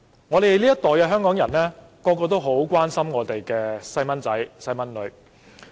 我們這一代香港人，人人都很關心自己的子女。